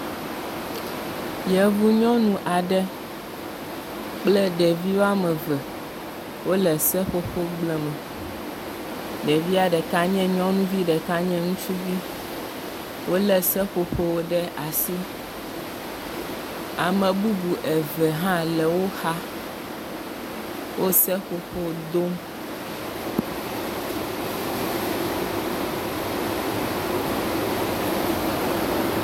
Yevunyɔnu aɖe kple ɖevi woame eve wole seƒoƒo gble me. Ɖevia ɖeka nye nyɔnuvi ɖeka nye ŋutsuvi. Wolé seƒoƒo ɖe asi. Ame bubu eve wo hã le wo xa, wo seƒoƒo dom.